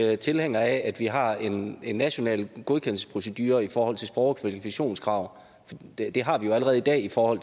er ikke tilhængere af at vi har en national godkendelsesprocedure i forhold til sprog og kvalifikationskrav det har vi jo allerede i dag for